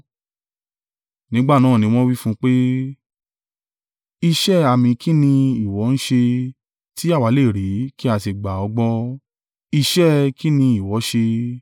Nígbà náà ni wọ́n wí fún wọn pé, “Iṣẹ́ àmì kín ní ìwọ ń ṣe, tí àwa lè rí, kí a sì gbà ọ́ gbọ́? Iṣẹ́ kín ní ìwọ ṣe?